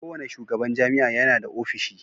Kowane shugaban jami'a yana da ofishi.